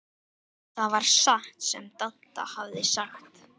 Það var satt sem Dadda hafði sagt.